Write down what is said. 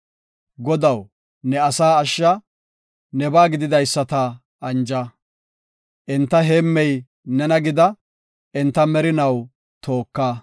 Godaw, ne asaa ashsha; nebaa gididaysata anja. Enta heemmey nena gida; enta merinaw tooka.